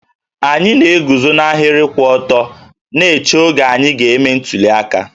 Anyị na-eguzo n'ahịrị kwụ ọtọ na-eche oge anyị ga-eme ntuli aka